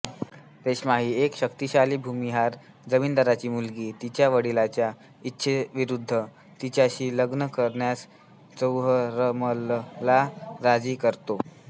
रेश्मा एक शक्तिशाली भूमिहार जमीनदारांची मुलगी तिच्या वडिलांच्या इच्छेविरुध्द तिच्याशी लग्न करण्यास चौहरमलला राजी करतो